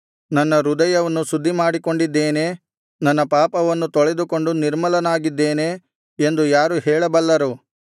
ನನ್ನ ಹೃದಯವನ್ನು ಶುದ್ಧಿಮಾಡಿಕೊಂಡಿದ್ದೇನೆ ನನ್ನ ಪಾಪವನ್ನು ತೊಳೆದುಕೊಂಡು ನಿರ್ಮಲನಾಗಿದ್ದೇನೆ ಎಂದು ಯಾರು ಹೇಳಬಲ್ಲರು